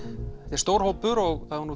er stór hópur og